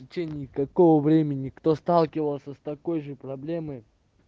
в течение какого времени кто сталкивался с такой же проблемой